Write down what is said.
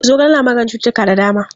Zogale na maganin cuttutuka da dama.